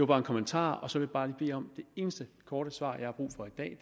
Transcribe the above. bare en kommentar så vil jeg bare bede om det eneste korte svar jeg har brug for i dag